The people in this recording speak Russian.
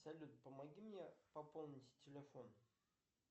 салют помоги мне пополнить телефон